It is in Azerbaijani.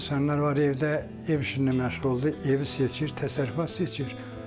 Yəni insanlar var evdə, ev işində məşğul olurdu, evi seçir, təsərrüfat seçir.